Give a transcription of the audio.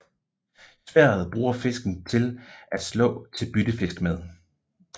Sværdet bruger fisken til at slå til byttefisk med